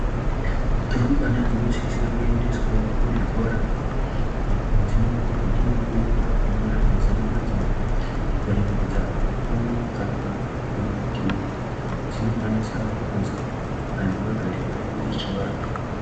Rumbwana dzinosise kuendeswavo kuzvikora apo padzinenge dzichindofundira kunyora mazina adzo, kuremekedza antu akuru kana kuti dzinokwanisa kuto tsika nemagariro edu echivantu.